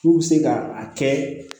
K'u bɛ se ka a kɛ